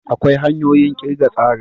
Akwai hanyoyin kirga tsarin.